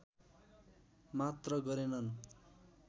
मात्र गरेनन्